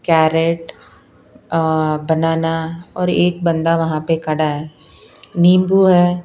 Carat अ banana और एक बंदा वहां पे खड़ा है नींबू है।